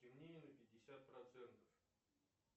темнее на пятьдесят процентов